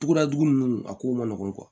Tuguda jugu nunnu a ko man nɔgɔn